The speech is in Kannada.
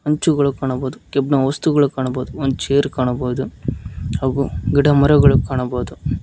ಎಂಚುಗಳು ಕಾಣಬಹುದು ಕೇಬ್ಣ ವಸ್ತುಗಳು ಕಾಣಬಹುದು ಒಂದ್ ಚೇರ್ ಕಾಣಬಹುದು ಹಾಗು ಗಿಡ ಮರಗಳು ಕಾಣಬಹುದು.